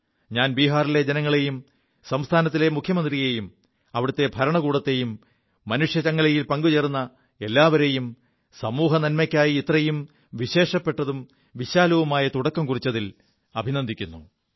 ഞാൻ ബീഹാറിലെ ജനങ്ങളെയും സംസ്ഥാനത്തെ മുഖ്യമന്ത്രിയെയും അവിടത്തെ ഭരണകൂടത്തെയും മനുഷ്യച്ചങ്ങലയിൽ പങ്കുചേർ എല്ലാവരെയും സമൂഹനന്മയ്ക്കായി ഇത്രയും വിശേഷപ്പെതും വിശാലവുമായ തുടക്കം കുറിച്ചതിൽ അഭിനന്ദിക്കുു